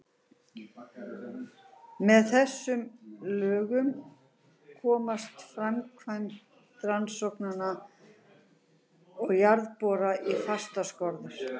Með þessum lögum komst framkvæmd rannsókna og jarðhitaborana í fastar skorður.